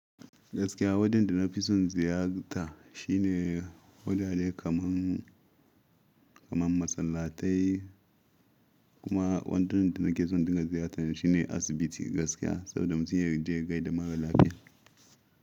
Gaskiya wajen da na fi son ziyarta shine wurare kamar, kamar masallatai kuma wadanda ke son ka ziyarta shine asibiti gaskiya saboda mutum ya je ya gaida mara lafiya.